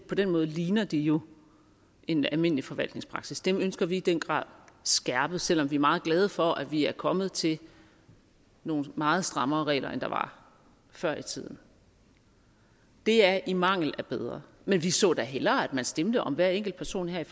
på den måde ligner det jo en almindelig forvaltningspraksis det ønsker vi i den grad skærpet selv om vi er meget glade for at vi er kommet til nogle meget strammere regler end der var før i tiden det er i mangel af bedre men vi så da hellere at vi stemte om hver enkelt person her i